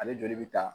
Ale joli bɛ ta